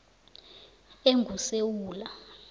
engusewula